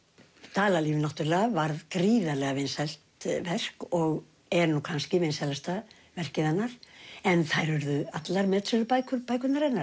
Dalalíf náttúrulega varð gríðarlega vinsælt verk og er nú kannski vinsælasta verkið hennar en þær urðu allar metsölubækur bækurnar hennar